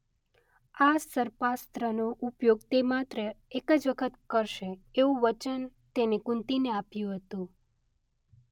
આ સર્પાસ્ત્રનો ઉપયોગ તે માત્ર એક જ વખત કરશે એવું વચન તેણે કુંતીને આપ્યું હતું.